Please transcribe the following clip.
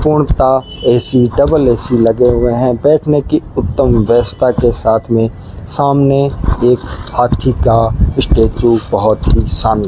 पूर्णतः AC double AC लगे हुए हैं बैठने की उत्तम व्यवस्था के साथ में सामने एक हाथी का स्टेचू बहोत ही शान --